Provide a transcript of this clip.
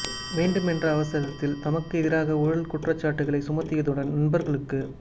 வேண்டும் என்ற அவசரத்தில் தமக்கு எதிராக ஊழல் குற்றச்சாட்டுக்களை சுமத்தியதுடன் நண்பர்களுக்கு